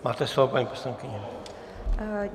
Máte slovo, paní poslankyně.